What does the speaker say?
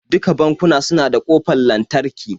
Duka bankuna su na da kofar lantarki